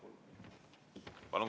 Palun!